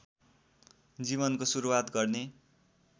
जीवनको सुरुवात गर्ने